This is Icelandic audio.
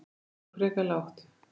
Þetta er nú frekar lágt